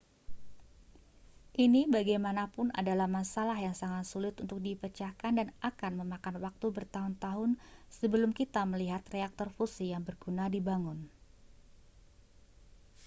ini bagaimanapun adalah masalah yang sangat sulit untuk dipecahkan dan akan memakan waktu bertahun-tahun sebelum kita melihat reaktor fusi yang berguna dibangun